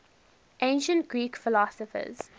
ancient greek philosophers